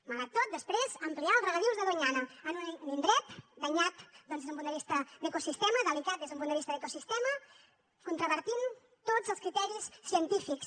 malgrat tot després ampliar els regadius de doñana en un indret danyat doncs des d’un punt de vista d’ecosistema delicat des d’un punt de vista d’ecosistema contravenint tots els criteris científics